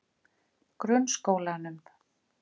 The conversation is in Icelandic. Grunnskólanum